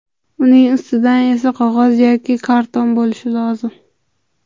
Uning ustidan esa qog‘oz yoki karton bo‘lishi lozim.